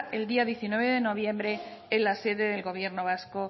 el día diecinueve de noviembre en la sede del gobierno vasco